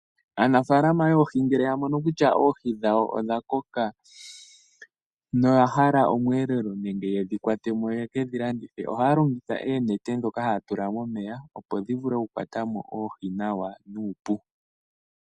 Aanafaalama yoohii ngele yamono kutya oohii dhawo odha koka na oyahala omweelelo nenge yedhi watemo yekedhi landithe ohaya longitha oonete dhoka haya tula momeya opo dhivule okukwata mo oohii nawa nuupu.